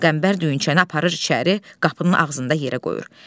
Qəmbər düyünçəni aparır içəri, qapının ağzında yerə qoyur.